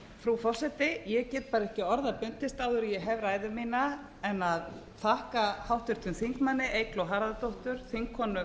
frú forseti ég get bara ekki orða bundist áður en ég hef ræðu mína en að þakka háttvirtum þingmanni eygló harðardóttur þingkonu